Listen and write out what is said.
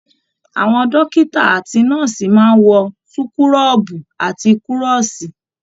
Àwọn dókítà àti nọ́ọ̀sì máa n wọ súkúrọbuù àti kúrọ́sí.